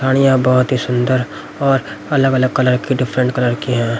खाणियां बहुत ही सुंदर और अलग-अलग कलर की डिफरेंट कलर की हैं।